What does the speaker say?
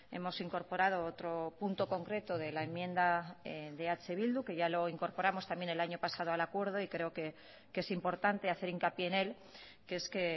hemos incorporado otro punto concreto de la enmienda de eh bildu que ya lo incorporamos también el año pasado al acuerdo y creo que es importante hacer hincapié en él que es que